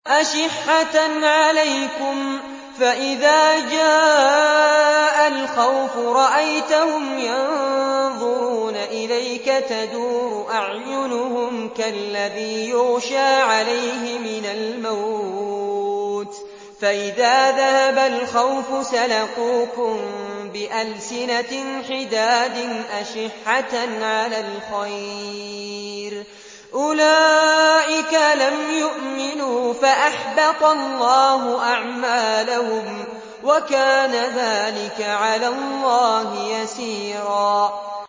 أَشِحَّةً عَلَيْكُمْ ۖ فَإِذَا جَاءَ الْخَوْفُ رَأَيْتَهُمْ يَنظُرُونَ إِلَيْكَ تَدُورُ أَعْيُنُهُمْ كَالَّذِي يُغْشَىٰ عَلَيْهِ مِنَ الْمَوْتِ ۖ فَإِذَا ذَهَبَ الْخَوْفُ سَلَقُوكُم بِأَلْسِنَةٍ حِدَادٍ أَشِحَّةً عَلَى الْخَيْرِ ۚ أُولَٰئِكَ لَمْ يُؤْمِنُوا فَأَحْبَطَ اللَّهُ أَعْمَالَهُمْ ۚ وَكَانَ ذَٰلِكَ عَلَى اللَّهِ يَسِيرًا